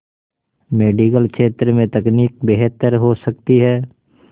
medical क्षेत्र में तकनीक बेहतर हो सकती है